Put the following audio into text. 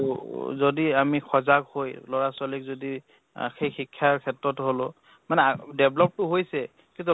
উম যদি আমি সজাগ হৈ লʼৰা ছোৱালীক যদি আহ সেই শিক্ষাৰ ক্ষেত্ৰত হʼলʼ মানে আ develop টো হৈছে কিন্তু